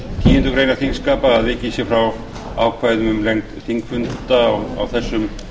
tíundu greinar þingskapa að vikið sé frá ákvæðum um lengd þingfunda á þessum